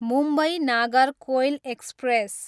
Mumbai, Nagercoil express